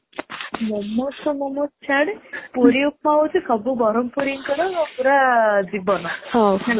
momos ତ momos ଛାଡେ ପୁରୀ ଉପମା ହଉଚି ସବୁ ବରହମପୁରୀ ଙ୍କ ପୁରା ଜୀବନ ହେଲା